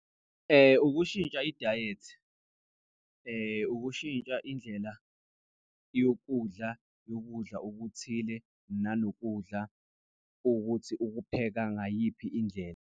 Ukushintsha idayethi, ukushintsha indlela yokudla ukudla okuthile nanokudla ukuthi ukupheka ngayiphi indlela.